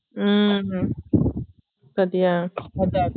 உம் பாத்தியா அதான் அதான்